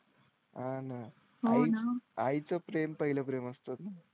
आह आणि आई चं प्रेम पहिलं प्रेम असतं.